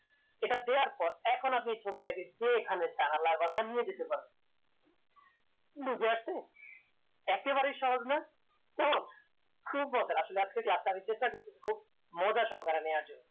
এটা দেয়ার পর এখন আপনি ছবিটাকে যেখানে নিয়ে যেতে পারেন বুঝা গেছে একেবারে সহজ না তো খুঁজে মজা আসলে আজকে class নিতে এসে আমি খুব মজা সহকারে নিয়ার জন্য